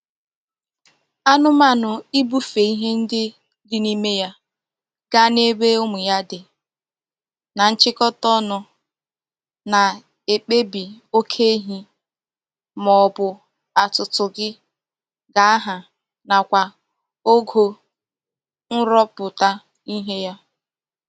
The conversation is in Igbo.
Anumanu Ibufe ihe ndi di n'ime ya gaa n'ebe umu ya di na nchikota onu na-ekpebi oke ehi ma obu atutu gi ga-aha nakwa ogo nruputa ihe ya.